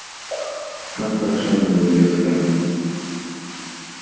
как хороша была елецкая